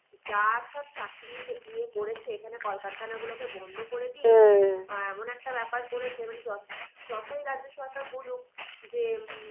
যা সব চাকরির ইয়ে করেছে এখানে কলকারখানা গুলোকে বন্ধ এখন একটা ব্যাপার করেছে মানে যতই রাজ্য সরকার বলুক যে